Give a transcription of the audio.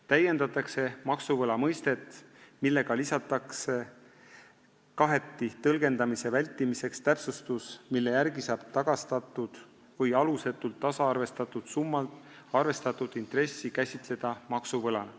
Kaheti tõlgendamise vältimiseks lisatakse täpsustus, mille järgi saab tagastatud või alusetult tasaarvestatud summalt arvestatud intressi käsitleda maksuvõlana.